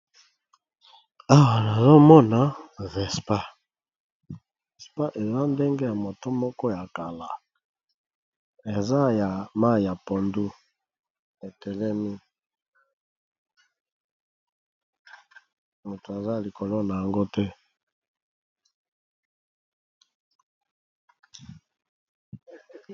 Awa nazomona vespar vespa eza ndenge ya moto moko ya kala, eza ya ma ya pondu etelemi moto aza likolo na yango te.